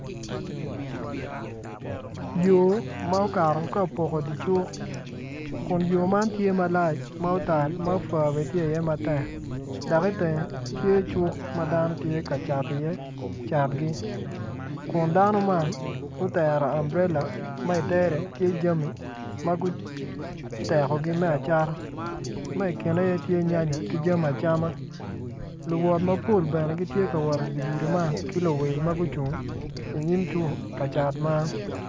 Yo ma okato kapoko dicuk kun yo man tye malac matal ma afwa bene tye i ye matek dok i tenge tye cuk madano tye ka cat i ye cat gi kun dano man gutero amburela ma itere tye jami maguteko gi me acata ma ikine iye tye nyanya ki jami acama luwot mapol bene gitye ka wot i di gudi man ki luwil magucung i nyim cuk ka cat man.